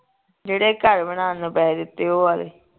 ਜਿਹੜੇ ਘਰ ਬਣਾਉਣ ਨੂੰ ਪੈਸੇ ਦਿਤੇ ਉਹ ਆਲੇ